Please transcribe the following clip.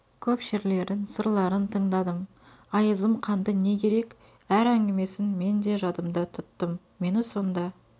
көп шерлерін сырларын тыңдадым айызым қанды не керек әр әңгімесін мен де жадымда тұттым мені сонда